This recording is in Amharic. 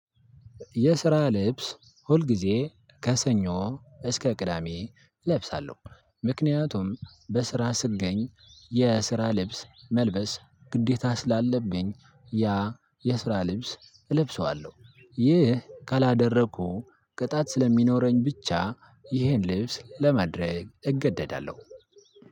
የስራ ልብስ ሁል ጊዜ ከሰኞ እስከ ቅዳሜ እለብሳለሁ ምክንያቱም በስራ ስገኝ የስራ ልብስ መልበስ ግዴታ ስለአለብኝ ያ የስራ ልብስ እለብሰዋልሁ ይህ ካላደረኩ ቅጣት ስለሚኖረኝ ብቻ። ይህን ልብስ ለማድረግ እገደዳልሁ።